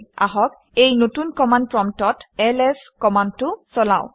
আহক এই নতুন কমাণ্ড প্ৰম্পটত এলএছ কমাণ্ডটো চলাওঁ